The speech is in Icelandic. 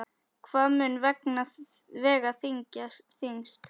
Hvað mun vega þyngst?